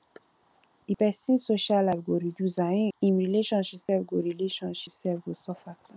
di pesin social life go reduce and im relationship sef go relationship sef go suffer too